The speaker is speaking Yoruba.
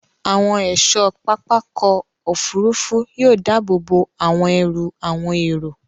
Àwọn ẹ̀ṣọ́ pápákọ̀ òfurufú yóò dáàbòbò àwọn ẹrù àwọn èrò